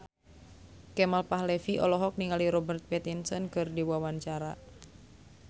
Kemal Palevi olohok ningali Robert Pattinson keur diwawancara